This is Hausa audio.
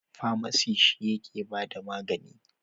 Famasi shi yake ba da magani.